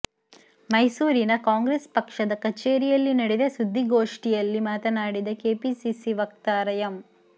ಮೈಸೂರಿನ ಕಾಂಗ್ರೆಸ್ ಪಕ್ಷದ ಕಚೇರಿಯಲ್ಲಿ ನಡೆದ ಸುದ್ದಿಗೋಷ್ಠಿಯಲ್ಲಿ ಮಾತನಾಡಿದ ಕೆಪಿಸಿಸಿ ವಕ್ತಾರ ಎಂ